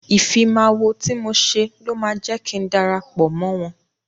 Ìfimáwo tí mo ṣe ló máa jẹ́ kin darapọ̀ mọ́ wọ́n.